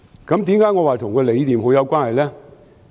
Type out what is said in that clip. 為何我說跟理念很有關係？